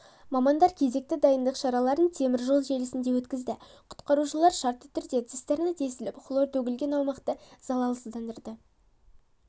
мамандар кезекті дайындық шараларын теміржол желісінде өткізді құтқарушылар шартты түрде цистерна тесіліп хлор төгілген аумақты заласыздандырды